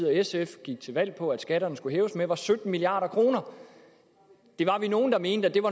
og sf gik til valg på at skatterne skulle hæves med var sytten milliard kroner det var vi nogle der mente